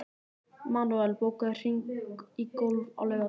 Manuel, bókaðu hring í golf á laugardaginn.